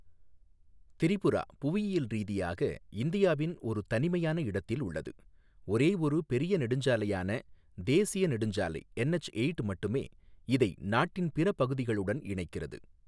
திரிபுரா புவியியல் ரீதியாக இந்தியாவின் ஒரு தனிமையான இடத்தில் உள்ளது, ஒரேயொரு பெரிய நெடுஞ்சாலையான தேசிய நெடுஞ்சாலை என்எச்எயிட் மட்டுமே இதை நாட்டின் பிற பகுதிகளுடன் இணைக்கிறது.